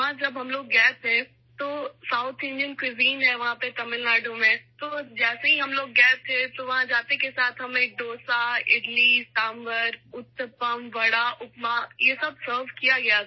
جب ہم وہاں گئے تو تمل ناڈو میں جنوبی ہند کے کھانے ہیں چنانچہ جیسے ہی ہم وہاں گئے ہمیں ڈوسا، اڈلی، سانبھر ، اُتپم، وڈا، اپما پیش کیا گیا